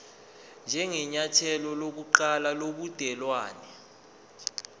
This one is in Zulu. njengenyathelo lokuqala lobudelwane